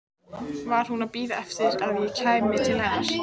Var hún að bíða eftir að ég kæmi til hennar?